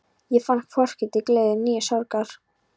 Ég fann hvorki til gleði né sorgar.